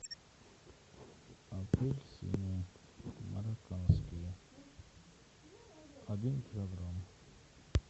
апельсины марокканские один килограмм